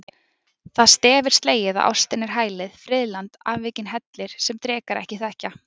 Það stef er slegið að ástin er hælið, friðland, afvikinn hellir, sem drekar ekki þekkja.